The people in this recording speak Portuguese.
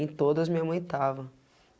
Em todas, minha mãe tava.